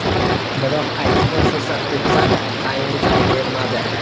Biroq aytilgan fursat o‘tsa-da, tayinli javob bermadi.